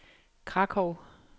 Krakow